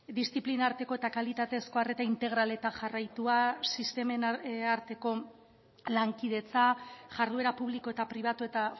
diziplina arteko eta kalitatezko arreta integral eta jarraitua sistemen arteko lankidetza jarduera publiko eta pribatu eta